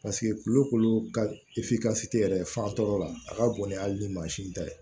kulo kolo ka yɛrɛ fan tɔw la a ka bon ni hali ni mansin ta ye